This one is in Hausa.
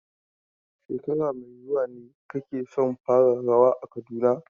Shekara mai zuwa ne kake son fara rawa a Kaduna?